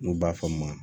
N'u b'a fɔ a ma